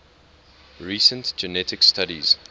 recent genetic studies